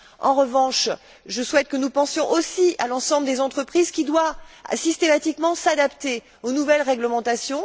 En revanche, je souhaite que nous pensions aussi à l'ensemble des entreprises qui doivent systématiquement s'adapter aux nouvelles réglementations.